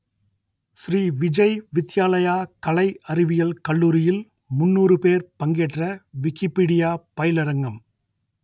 ஸ்ரீ விஜய் வித்யாலயா கலை அறிவியல் கல்லூரியில் முன்னூறு பேர் பங்கேற்ற விக்கிப்பீடியா பயிலரங்கம்